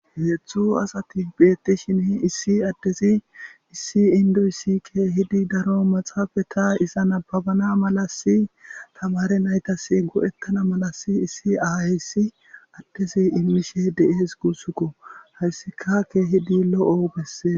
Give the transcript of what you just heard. Heethxu asati beetti shini issi addezi issi indoyssike hidi daro maxaafe ta iza nababana malasi tamare naytas go7ettana malasi issi ahayssi addesi imishe deees guussukko hayssikakke hidi lo7o bessee